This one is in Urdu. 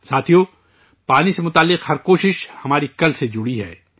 ساتھیو، پانی سے جڑی ہر کوشش ہمارے کل سے جڑی ہے